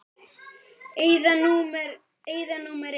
Eyða númer eitt.